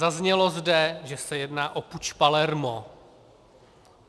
Zaznělo zde, že se jedná o puč Palermo.